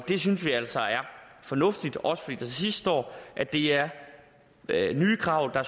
det synes vi altså er fornuftigt også fordi der til sidst står at det er nye krav